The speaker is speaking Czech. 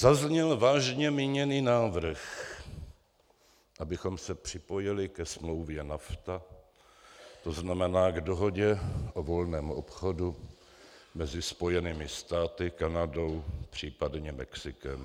Zazněl vážně míněný návrh, abychom se připojili ke smlouvě NAFTA, to znamená k dohodě o volném obchodu mezi Spojenými státy, Kanadou případně Mexikem.